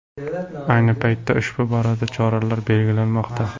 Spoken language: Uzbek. Ayni paytda ushbu borada choralar belgilanmoqda.